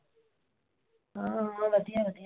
ਆਹੋ ਵਧੀਆ-ਵਧੀਆਂ।